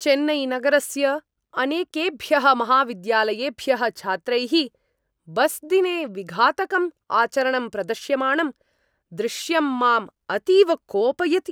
चेन्नैनगरस्य अनेकेभ्यः महाविद्यालयेभ्यः छात्रैः बस्दिने विघातकम् आचरणं प्रदर्श्यमाणं दृश्यं माम् अतीव कोपयति।